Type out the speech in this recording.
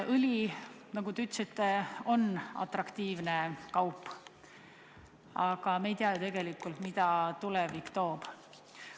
Õli, nagu te ütlesite, on atraktiivne kaup, aga me ei tea ju tegelikult, mida tulevik toob.